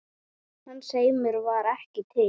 Hans heimur var ekki til.